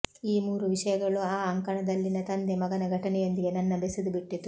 ಈ ಮೂರು ವಿಷಯಗಳು ಆ ಅಂಕಣದಲ್ಲಿನ ತಂದೆ ಮಗನ ಘಟನೆಯೊಂದಿಗೆ ನನ್ನ ಬೆಸೆದುಬಿಟ್ಟಿತು